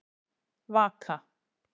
Vaka